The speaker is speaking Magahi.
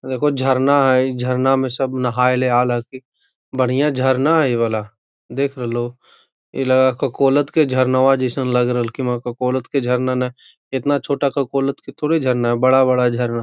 एगो झरना हई झरना में सब नहाएल है की बढ़िया झरना है इ वाला देख रहलो इ लगत झरना जइसन लग रहल के झरना न इतना छोटा के झरना बड़ा बड़ा झरना।